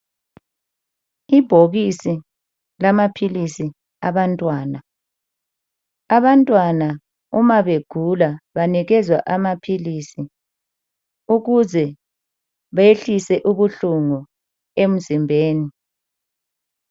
Ibhokisi lamaphilisi abantwana, abantwana uma begula banikezwa amaphilisi ukuze behlise ubuhlungu emzimbeni.